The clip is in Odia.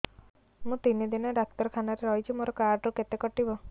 ମୁଁ ତିନି ଦିନ ଡାକ୍ତର ଖାନାରେ ରହିଛି ମୋର କାର୍ଡ ରୁ କେତେ କଟିବ